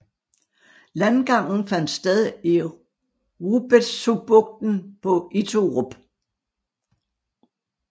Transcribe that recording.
Landgangen fandt sted i Rubetzubugten på Iturup